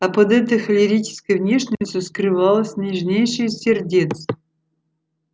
а под этой холерической внешностью скрывалось нежнейшее из сердец